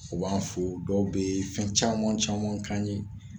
U b'an fɔ dɔw bɛ fɛn caman caman k'an ye